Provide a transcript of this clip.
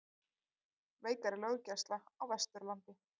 Veikari löggæsla á Vesturlandi